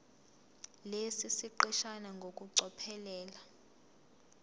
lesi siqeshana ngokucophelela